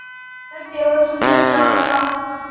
वह केवल सुंदर जाल था